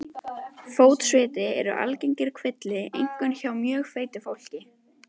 Fótsviti eru algengur kvilli, einkum hjá mjög feitu fólki.